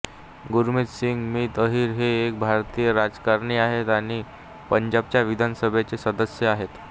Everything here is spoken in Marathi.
गुरमितसिंग मीत आहिर हे एक भारतीय राजकारणी आहेत आणि पंजाबच्या विधानसभेचे सदस्य आहेत